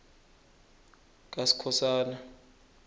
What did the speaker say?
kaskhosana